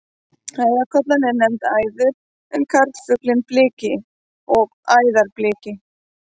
Æðarkollan er nefnd æður en karlfuglinn bliki og æðarbliki.